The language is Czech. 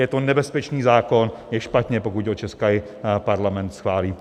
Je to nebezpečný zákon, je špatně, pokud ho český Parlament schválí.